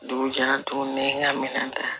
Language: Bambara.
Dugu jɛra tuguni n ka minɛn ta